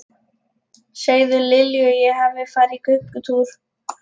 Segðu Lilju að ég hafi farið í göngutúr.